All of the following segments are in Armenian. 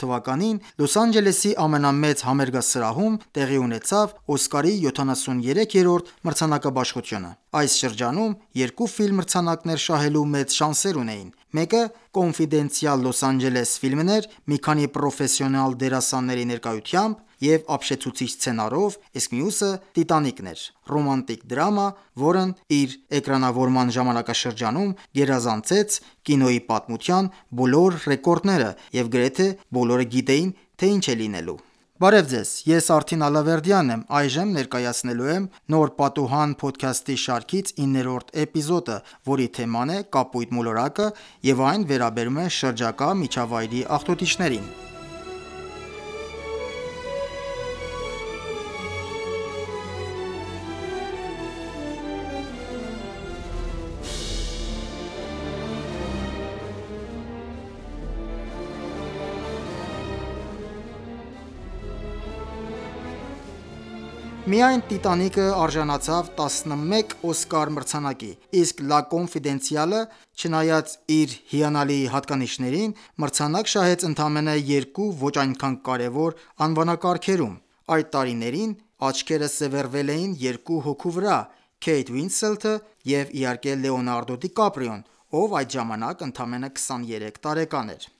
թվականին Լոս Անջելեսի ամենամեծ համերգասրահում տեղի ունեցավ Օսկարի 73-րդ մրցանակաբաշխությունը։ Այս շրջանում երկու ֆիլմ մրցանակներ շահելու մեծ շանսեր ունեին։ Մեկը «Կոնֆիդենցիալ Լոս Անջելես» (LA Confidential) ֆիլմն էր՝ մի քանի պրոֆեսիոնալ դերասանների ներկայությամբ և ապշեցուցիչ սցենարով, իսկ մյուսը՝ Տիտանիկն էր․ ռոմանտիկ դրամա, որն իր էկրանավորման ժամանակաշրջանում գերազանցեց կինոյի պատմության բոլոր ռեկորդները, և գրեթե բոլորը գիտեին, թե ինչ է լինելու: Միայն «Տիտանիկը» արժանացավ տասնմեկ «Օսկար» մրցանակի, իսկ «L.A. Confidential»-ը, չնայած իր հիանալի հատկանիշներին, մրցանակ շահեց ընդամենը երկու՝ ոչ այնքան կարևոր անվանակարգերում: Այդ տարիներին աչքերը սևեռվել էին երկու հոգու վրա․ Քեյթ Ուինսլեթ (Kate Winslet) և իհարկե Լեոնարդո Դի Կապրիոն (Leonardo DiCaprio), ով այդ ժամանակ ընդամենը 23 տարեկան էր։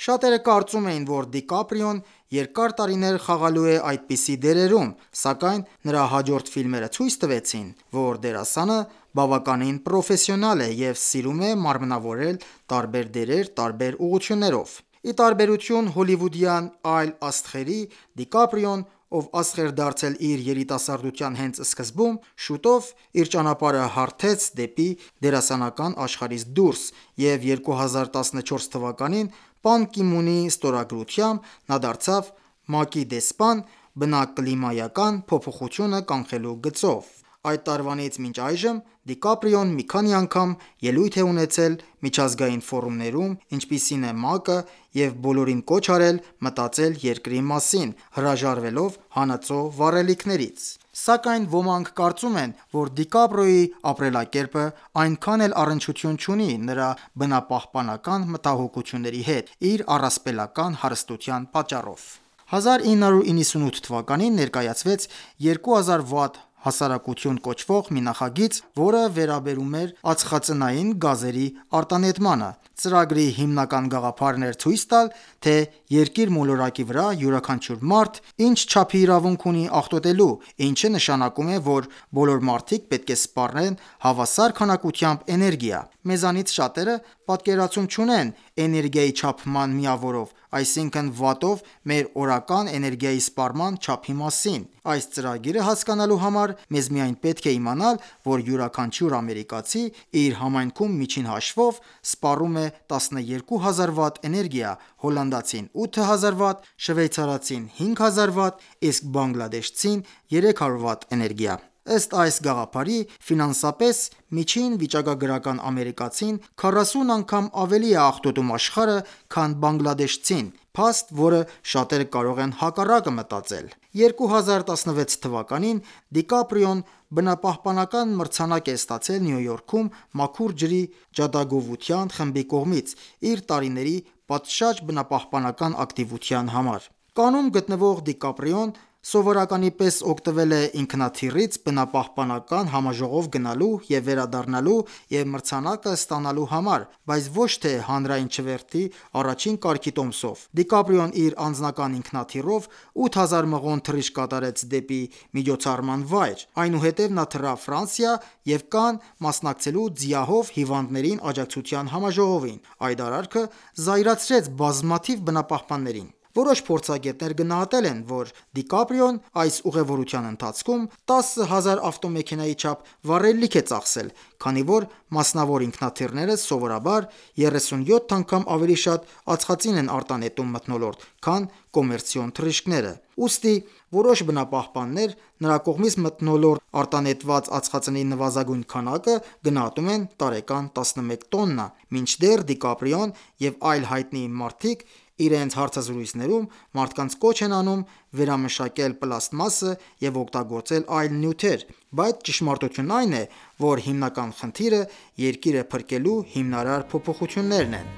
Շատերը կարծում էին, որ Դի Կապրիոն երկար տարիներ խաղալու է այդպիսի դերերում, սակայն նրա հաջորդ ֆիլմերը ցույց տվեցին, որ դերասանը բավականին պրոֆեսիոնալ է և սիրում է մարմնավորել տարբեր դերեր տարբեր ուղղություններով։ Ի տարբերություն հոլիվուդյան այլ աստղերի, Դի Կապրիոն, ով աստղ էր դարձել իր երիտասարդության հենց սկզբում, շուտով իր ճանապարհը հարթեց դեպի դերասանական աշխարհից դուրս, և 2014 թվականին Պան Կի Մունի ստորագրությամբ նա դարձավ ՄԱԿ-ի դեսպան՝ բնակլիմայական փոփոխությունը կանխելու գծով։ Այդ տարվանից մինչ այժմ Դի Կապրիոն մի քանի անգամ ելույթ է ունեցել միջազգային ֆորումներում, ինչպիսին է ՄԱԿ-ը, և բոլորին կոչ արել մտածել երկրի մասին՝ հրաժարվելով հանածո վառելիքներից: Սակայն ոմանք կարծում են, որ Դի Կապրիոյի ապրելակերպը այնքան էլ առնչություն չունի նրա բնապահպանական մտահոգությունների հետ՝ իր առասպելական հարստության պատճառով: 1998 թվականին ներկայացվեց «2000 Watt հասարակություն» կոչվող մի նախագիծ, որը վերաբերում էր ածխածնային գազերի արտանետմանը: Ծրագրի հիմնական գաղափարն էր ցույց տալ, թե երկիր մոլորակի վրա յուրաքանչյուր մարդ ինչ չափի իրավունք ունի աղտոտելու, ինչը նշանակում է, որ բոլոր մարդիկ պետք է սպառեն հավասար քանակությամբ էներգիա։ Մեզանից շատերը պատկերացում չունեն էներգիայի չափման միավորով, այսինքն՝ Վատտով մեր օրական էներգիայի սպառման չափի մասին: Այս ծրագիրը հասկանալու համար մեզ միայն պետք է իմանալ, որ յուրաքանչյուր ամերիկացի իր համայնքում միջին հաշվով սպառում է 12000 Վտ էներգիա, հոլանդացին 8000 Վտ, շվեյցարացին՝ 5000 Վտ, իսկ բանգլադեշցին՝ 300 Վտ էներգիա: Ըստ այս գաղափարի՝ ֆինանսապես միջին վիճակագրական ամերիկացին 40 անգամ ավելի է աղտոտում աշխարհը, քան բանգլադեշցին․ փաստ, որը շատերը կարող են հակառակը մտածել։ 2016 թվականին Դի Կապրիոն բնապահպանական մրցանակ է ստացել Նյու Յորքում մաքուր ջրի ջատագովության խմբի կողմից՝ իր տարիների պատշաճ բնապահպանական ակտիվության համար: Կաննում գտնվող Դի Կապրիոն սովորականի պես օգտվել է ինքնաթիռից բնապահպանական համաժողով գնալու և վերադառնալու և մրցանակը ստանալու համար, բայց ոչ թե հանրային չվերթի առաջին կարգի տոմսով։ Դի Կապրիոն իր անձնական ինքնաթիռով 8000 մղոն թռիչք կատարեց դեպի միջոցառման վայր: Այնուհետև նա թռավ Ֆրանսիա և Կանն՝ մասնակցելու ՁԻԱՀ-ով հիվանդներին աջակցության համաժողովին: Այդ արարքը զայրացրեց բազմաթիվ բնապահպաններին։ Որոշ փորձագետներ գնահատել են, որ Դի Կապրիոն այս ուղևորության ընթացքում տասը հազար ավտոմեքենայի չափ վառելիք է ծախսել, քանի որ մասնավոր ինքնաթիռները սովորաբար 37 անգամ ավելի շատ ածխածին են արտանետում մթնոլորտ, քան կոմերցիոն թռիչքները: Ուստի որոշ բնապահպաններ նրա կողմից մթնոլորտ արտանետված ածխածնի նվազագույն քանակը գնահատում են տարեկան 11 տոննա: Մինչդեռ Դի Կապրիոն և այլ հայտնի մարդիկ իրենց հարցազրույցներում մարդկանց կոչ են անում վերամշակել պլաստմասը և օգտագործել այլ նյութեր, բայց ճշմարտությունն այն է, որ հիմնական խնդիրը Երկիրը փրկելու հիմնարար փոփոխություններն են: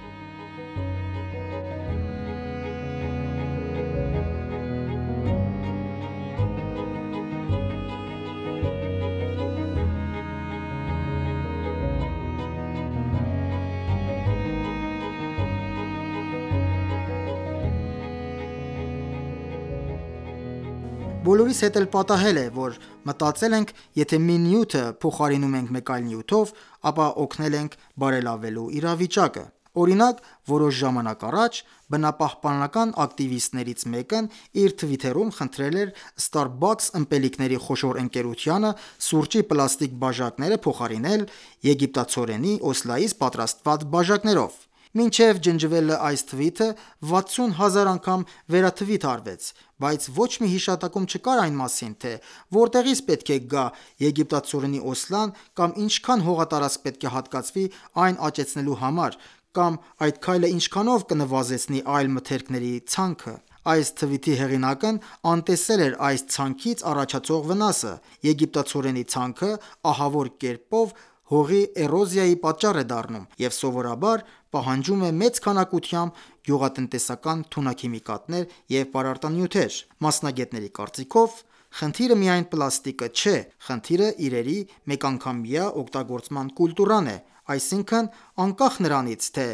Բոլորիս հետ էլ պատահել է, որ մտածել ենք՝ եթե մի նյութը փոխարինում ենք այլ նյութով, ապա օգնել ենք բարելավելու իրավիճակը։ Օրինակ, որոշ ժամանակ առաջ բնապահպան ակտիվիստներից մեկն իր թվիթում խնդրել էր Starbucks ըմպելիքների խոշոր ընկերությանը սուրճի պլաստիկ բաժակները փոխարինել եգիպտացորենի օսլայից պատրաստված բաժակներով: Մինչև ջնջվելը այս թվիթը 60,000 անգամ վերաթվիթ արվեց, բայց ոչ մի հիշատակում չկար այն մասին, թե որտեղից պետք է գա եգիպտացորենի օսլան կամ ինչքա՞ն հողատարածք պետք է հատկացվի այն աճեցնելու համար, կամ այդ քայլը ինչքանով կնվազեցնի այլ մթերքների ցանքը։ Այս թվիթի հեղինակն անտեսել էր այս ցանքից առաջացող վնասը. եգիպտացորենի ցանքը ահավոր կերպով հողի էրոզիայի պատճառ է դառնում և սովորաբար պահանջում է մեծ քանակությամբ գյուղատնտեսական թունաքիմիկատներ և պարարտանյութեր: Մասնագետների կարծիքով՝ խնդիրը միայն պլաստիկը չէ, խնդիրը իրերի մեկանգամյա օգտագործման կուլտուրան է։ Այսինքն, անկախ նրանից, թե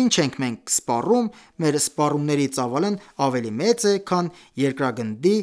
ինչ ենք մենք սպառում, մեր սպառումների ծավալն ավելի մեծ է, քան երկրագնդի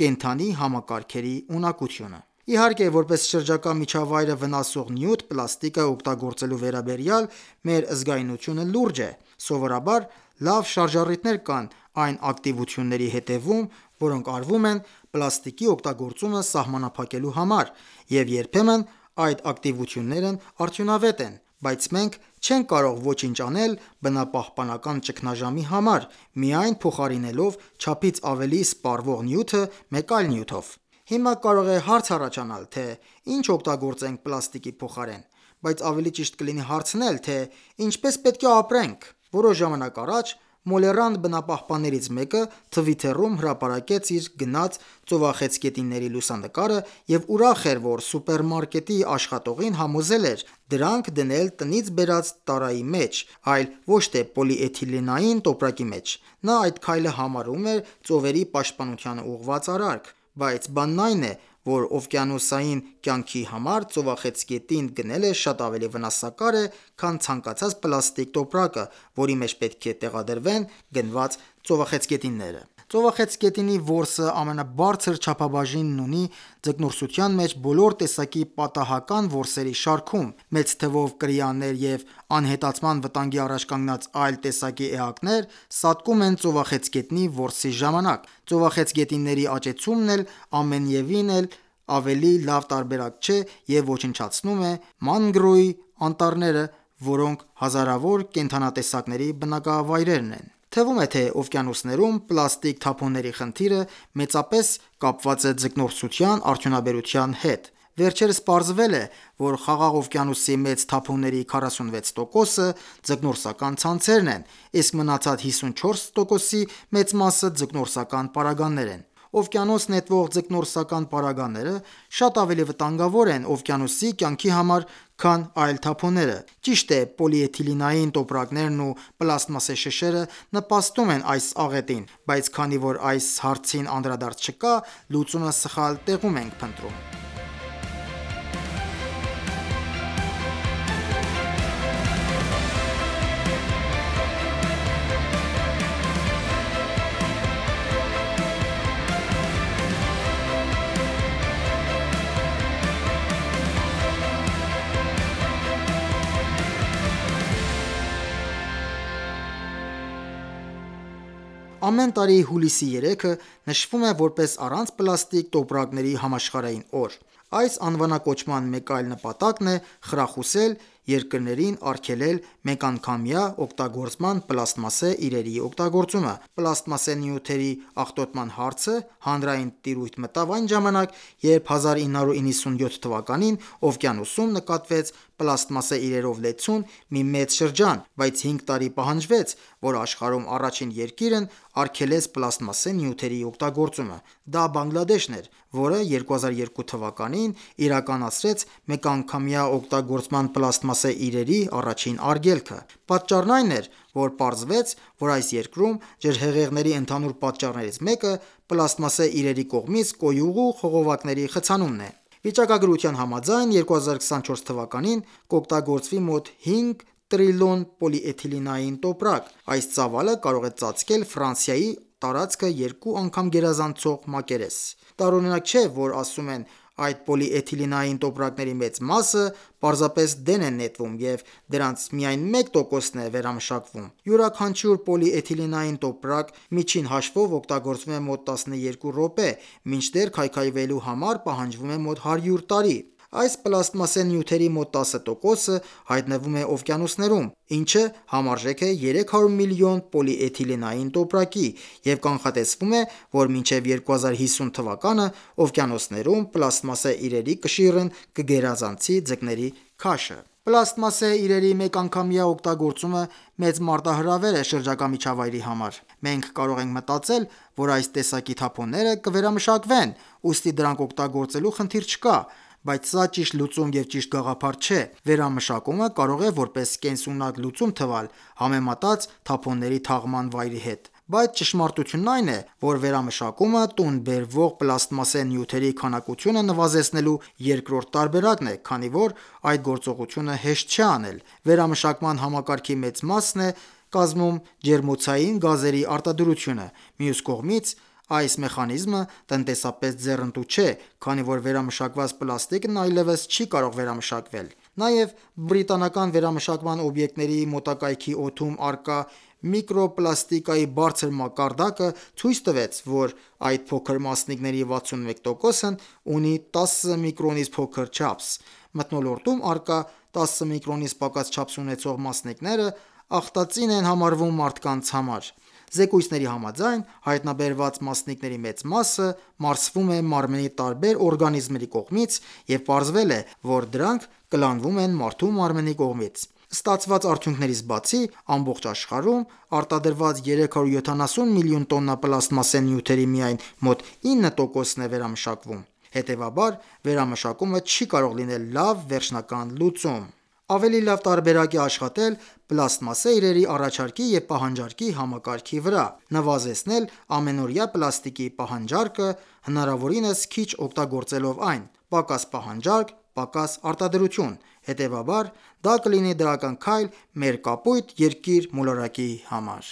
կենդանի համակարգերի ունակությունը։ Իհարկե, որպես շրջակա միջավայրը վնասող նյութ պլաստիկը օգտագործելու վերաբերյալ մեր զգայունությունը լուրջ է: Սովորաբար լավ շարժառիթներ կան այն ակտիվությունների հետևում, որոնք արվում են պլաստիկի օգտագործումը սահմանափակելու համար, և երբեմն այդ ակտիվություններն արդյունավետ են: Բայց մենք չենք կարող ոչինչ անել բնապահպանական ճգնաժամի համար՝ միայն փոխարինելով չափից ավելի սպառվող նյութը մեկ այլ նյութով։ Հիմա կարող է հարց առաջանալ, թե ի՞նչ օգտագործենք պլաստիկի փոխարեն։ Բայց ավելի ճիշտ կլինի հարցնել, թե ինչպես պետք է ապրենք: Որոշ ժամանակ առաջ մոլեռանդ բնապահպաններից մեկը Twitter-ում հրապարակեց իր գնած ծովախեցգետինների լուսանկարը և ուրախ էր, որ սուպերմարկետի աշխատողին համոզել էր՝ դրանք դնել տնից բերած տարայի մեջ, այլ ոչ թե պոլիէթիլենային տոպրակի մեջ։ Նա այդ քայլը համարում էր ծովերի պաշտպանությանը ուղղված արարք։ Բայց բանն այն է, որ օվկիանոսային կյանքի համար ծովախեցգետին գնելը շատ ավելի վնասակար է, քան ցանկացած պլաստիկ տոպրակը, որի մեջ պետք է տեղադրվեն գնված ծովախեցգետինները։ Ծովախեցգետնի որսը ամենաբարձր չափաբաժինն ունի ձկնորսության մեջ բոլոր տեսակի պատահական որսերի շարքում։ Մեծ թվով կրիաներ և անհետացման վտանգի առաջ կանգնած այլ տեսակի էակներ սատկում են ծովախեցգետնի որսի ժամանակ: Ծովախեցգետինների աճեցումն էլ ամենևին ավելի լավ տարբերակ չէ և ոչնչացնում է Մանգրոյի (Mangrove) անտառները, որոնք հազարավոր կենդանատեսակների բնակավայրն են: Թվում է, թե օվկիանոսներում պլաստիկ թափոնների խնդիրը մեծապես կապված է ձկնորսության արդյունաբերության հետ։ Վերջերս պարզվել է, որ Խաղաղ օվկիանոսի մեծ թափոնների 46%-ը ձկնորսական ցանցերն են, իսկ մնացած 54%-ի մեծ մասը ձկնորսական պարագաներ են: Օվկիանոս նետվող ձկնորսական պարագաները շատ ավելի վտանգավոր են օվկիանոսի կյանքի համար, քան այլ թափոնները: Ճիշտ է, պոլիէթիլենային տոպրակներն ու պլաստմասե շշերը նպաստում են այս աղետին, բայց քանի որ այս հարցին անդրադարձ չկա, լուծումը սխալ տեղում ենք փնտրում։ Ամեն տարի հուլիսի 3-ը նշվում է որպես «Առանց պլաստիկ տոպրակների համաշխարհային օր»: Այս անվանակոչման մեկ այլ նպատակն է խրախուսել երկրներին արգելել մեկանգամյա օգտագործման պլաստմասե իրերի օգտագործումը: Պլաստմասե նյութերի աղտոտման հարցը հանրային տիրույթ մտավ այն ժամանակ, երբ 1997 թվականին օվկիանոսում նկատվեց պլաստմասե իրերով լեցուն մի մեծ շրջան, բայց հինգ տարի պահանջվեց, որ աշխարհում առաջին երկիրն արգելեց պլաստմասե նյութերի օգտագործումը: Դա Բանգլադեշն էր, որ 2002թ.-ին իրականացրեց մեկանգամյա օգտագործման պլաստմասե իրերի առաջին արգելքը։ Պատճառն այն էր, որ պարզվեց, որ այս երկրում ջրհեղեղների ընդհանուր պատճառներից մեկը պլաստմասե իրերի կողմից կոյուղու խողովակների խցանումն է: Վիճակագրության համաձայն՝ 2024 թվականին կօգտագործվի մոտ հինգ տրիլիոն պոլիէթիլենային տոպրակ։ Այս ծավալը կարող է ծածկել Ֆրանսիայի տարածքը երկու անգամ գերազանցող մակերես: Տարօրինակ չէ, որ ասում են՝ այդ պոլիէթիլենային տոպրակների մեծ մասը պարզապես դեն են նետվում և դրանց միայն 1%-ն է վերամշակվում։ Յուրաքանչյուր պոլիէթիլենային տոպրակ միջին հաշվով օգտագործվում է մոտ 12 րոպե, մինչդեռ քայքայվելու համար պահանջվում է մոտ 100 տարի։ Այս պլաստմասե նյութերի մոտ 10%-ը հայտնվում է օվկիանոսներում, ինչը համարժեք է 300 միլիոն պոլիէթիլենային տոպրակի, և կանխատեսվում է, որ մինչև 2050 թվականը օվկիանոսներում պլաստմասե իրերի կշիռն կգերազանցի ձկների քաշը։ Պլաստմասե իրերի մեկանգամյա օգտագործումը մեծ մարտահրավեր է շրջակա միջավայրի համար: Մենք կարող ենք մտածել, որ այս տեսակի թափոնները կվերամշակվեն, ուստի դրանք օգտագործելու խնդիր չկա, բայց սա ճիշտ լուծում և ճիշտ գաղափար չէ: Վերամշակումը կարող է որպես կենսունակ լուծում թվալ՝ համեմատած թափոնների թաղման վայրի հետ: Բայց ճշմարտությունն այն է, որ վերամշակումը տուն բերվող պլաստմասե նյութերի քանակությունը նվազեցնելու երկրորդ տարբերակն է, քանի որ այդ գործողությունը հեշտ չէ անել: Վերամշակման համակարգի մեծ մասն է կազմում Ջերմոցային գազերի արտադրությունը։ Մյուս կողմից, այս մեխանիզմը տնտեսապես ձեռնտու չէ, քանի որ վերամշակված պլաստիկն այլևս չի կարող վերամշակվել: Նաև բրիտանական վերամշակման օբյեկտների մոտակայքի օդում առկա միկրոպլաստիկայի բարձր մակարդակը ցույց տվեց, որ այդ փոքր մասնիկների 61%-ն ունի 10 միկրոնից փոքր չափս։ Մթնոլորտում առկա՝ 10 միկրոնից պակաս չափս ունեցող մասնիկները ախտածին են համարվում մարդկանց համար: Զեկույցների համաձայն, հայտնաբերված մասնիկների մեծ մասը մարսվում է մարմնի տարբեր օրգանիզմների կողմից և պարզվել է, որ դրանք կլանվում են մարդու մարմնի կողմից: Ստացված արդյունքներից բացի, ամբողջ աշխարհում արտադրված 370 միլիոն տոննա պլաստմասե նյութերի միայն մոտ 9%-ն է վերամշակվում։ Հետևաբար, վերամշակումը չի կարող լինել լավ վերջնական լուծում: Ավելի լավ տարբերակ է աշխատել պլաստմասե իրերի առաջարկի և պահանջարկի համակարգի վրա։ Նվազեցնել ամենօրյա պլաստիկի պահանջարկը՝ հնարավորինս քիչ օգտագործելով այն: «Պակաս պահանջարկ, պակաս արտադրություն», հետևաբար, դա կլինի դրական քայլ մեր կապույտ Երկիր մոլորակի համար: